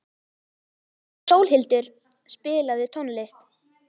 Sólhildur, spilaðu tónlist.